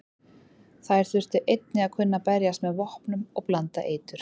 Þær þurftu einnig að kunna berjast með vopnum og blanda eitur.